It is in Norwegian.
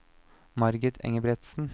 Margit Engebretsen